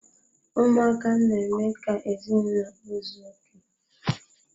Ụmụaka na-eme ka ezinaụlọ ụzọ oké.